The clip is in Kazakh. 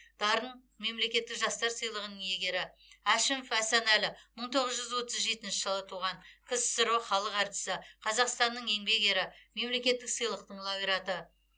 дарын мемлекеттік жастар сыйлығының иегері әшімов асанәлі мың тоғыз жүз отыз жетінші жылы туған ксро халық әртісі қазақстанның еңбек ері мемлекеттік сыйлықтың лауреаты